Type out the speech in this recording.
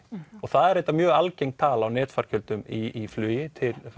og það er reyndar mjög algeng tala á í flugi